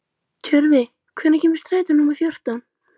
Tjörvi, hvenær kemur strætó númer fjórtán?